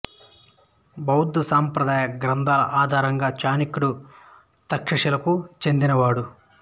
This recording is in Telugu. బౌద్ధ సంప్రదాయ గ్రంథాల ఆధారంగా చాణక్యుడు తక్షశిల కు చెందినవాడు